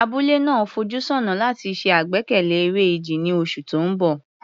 Abúlé náà ń fojú sọ́nà láti ṣe àgbékalẹ̀ eré ìje ní oṣù tó ń bọ̀.